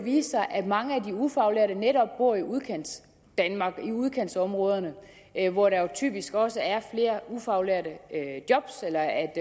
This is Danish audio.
vise sig at mange af de ufaglærte netop bor i udkantsdanmark i udkantsområderne hvor der jo typisk også er flere ufaglærte job eller